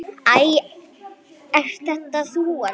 Æ, ert þetta þú elskan?